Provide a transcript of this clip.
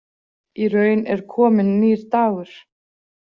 Í raun er kominn nýr dagur.